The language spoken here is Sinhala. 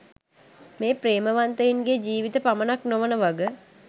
මේ ප්‍රේමවන්තයින්ගේ ජීවිත පමණක් නොවන වග.